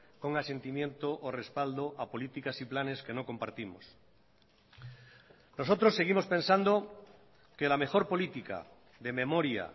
con asentimiento o respaldo a políticas y planes que no compartimos nosotros seguimos pensando que la mejor política de memoria